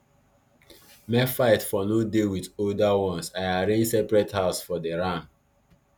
make fight for nor dey with older ones i arrange separate house for the ram